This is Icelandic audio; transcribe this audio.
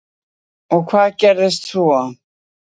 Helga Arnardóttir: Og hvað gerðist svo?